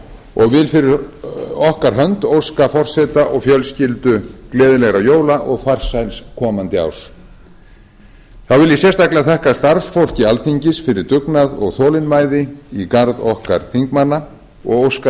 og vil fyrir okkar hönd óska forseta og fjölskyldu gleðilegra jóla og farsæls komandi árs þá vil ég sérstaklega þakka starfsfólki alþingis fyrir dugnað og þolinmæði í garð okkar þingmanna og óska